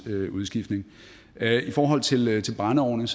udskiftning i forhold til brændeovne